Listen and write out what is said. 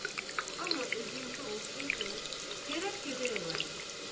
Amma özünkü olsaydı, gərək gödək olaydı.